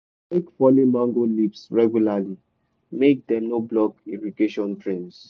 rake fallen mango leaves regularly make dem no block irrigation drains